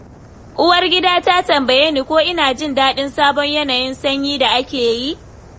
Uwargida ta tambaye ni ko ina jin daɗin sabon yanayin sanyi da ake yi.